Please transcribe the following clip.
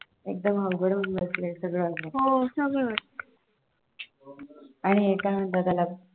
एकदम अवघड होऊन बसलय हे सगळं